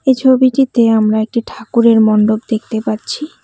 এই ছবিটিতে আমরা একটি ঠাকুরের মন্ডপ দেখতে পাচ্ছি।